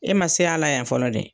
E ma se a la yan fɔlɔ dɛ.